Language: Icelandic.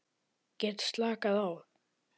Get slakað á.